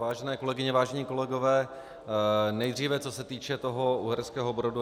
Vážené kolegyně, vážení kolegové, nejdříve co se týče toho Uherského Brodu.